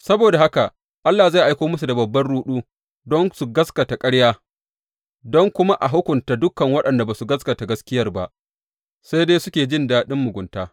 Saboda haka Allah zai aiko musu da babban ruɗu don su gaskata ƙarya don kuma a hukunta dukan waɗanda ba su gaskata gaskiyar ba sai dai suke jin daɗin mugunta.